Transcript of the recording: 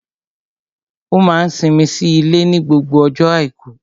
Ó máa n simi sí ilé ní gbogbo ọjọ́ àìkú